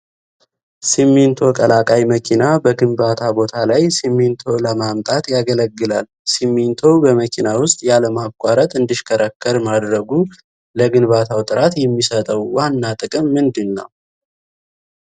ሲሚንቶ ቀላቃይ መኪና በግንባታ ቦታ ላይ ሲሚንቶ ለማምጣት ያገለግላል። ሲሚንቶው በመኪና ውስጥ ያለማቋረጥ እንዲሽከረከር ማድረጉ ለግንባታው ጥራት የሚሰጠው ዋና ጥቅም ምንድን ነው?